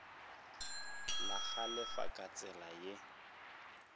la galefa ka tsela ye